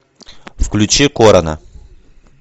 включи корона